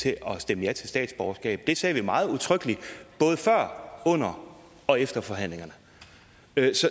til at stemme ja til statsborgerskab det sagde vi meget udtrykkeligt både før under og efter forhandlingerne